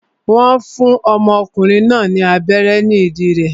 Wọ́n ọmọkùnrin náà ní abẹ́rẹ́ ní ìdí rẹ̀